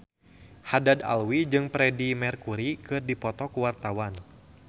Haddad Alwi jeung Freedie Mercury keur dipoto ku wartawan